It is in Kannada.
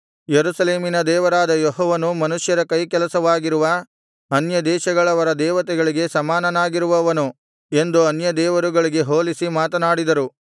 ಯೆರೂಸಲೇಮಿನ ದೇವರಾದ ಯೆಹೋವನು ಮನುಷ್ಯರ ಕೈಕೆಲಸವಾಗಿರುವ ಅನ್ಯದೇಶಗಳವರ ದೇವತೆಗಳಿಗೆ ಸಮಾನನಾಗಿರುವನನು ಎಂದು ಅನ್ಯದೇವರುಗಳಿಗೆ ಹೋಲಿಸಿ ಮಾತನಾಡಿದರು